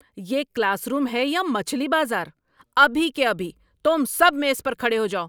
یہ classroom ہے یا مچھلی بازار؟ ابھی کے ابھی تم سب میز پر کھڑے ہو جاؤ!